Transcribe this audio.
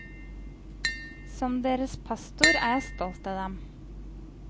Som deres pastor er jeg stolt av dem.